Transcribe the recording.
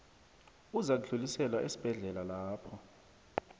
uzakudluliselwa esibhedlela lapho